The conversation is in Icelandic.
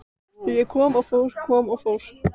Ég kom og fór, kom og fór.